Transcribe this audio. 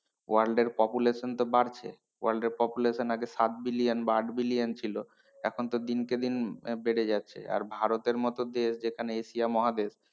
World population তো বাড়ছে world population আগে সাত billion বা আট billion ছিলো এখন তো দিনকে দিন বেড়ে যাচ্ছে আর ভারতের মতো দেশ যেখানে এশিয়া মহাদেশ,